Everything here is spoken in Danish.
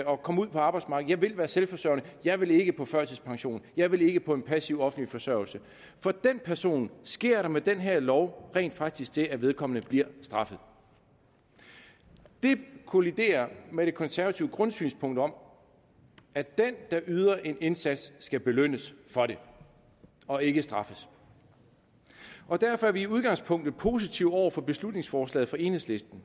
og komme ud på arbejdsmarkedet jeg vil være selvforsørgende jeg vil ikke på førtidspension jeg vil ikke på passiv offentlig forsørgelse for den person sker der med den her lov rent faktisk det at vedkommende bliver straffet det kolliderer med det konservative grundsynspunkt om at den der yder en indsats skal belønnes for det og ikke straffes og derfor er vi i udgangspunktet positive over for beslutningsforslaget fra enhedslisten